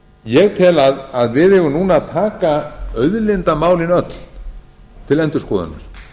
ég tel að við eigum núna að taka auðlindamálin öll til endurskoðunar